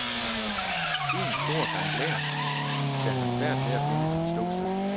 Én stor gang blær, der har svært ved at finde sit ståsted.